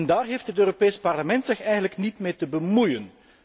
Daar heeft het Europees Parlement zich eigenlijk niet mee te bemoeien.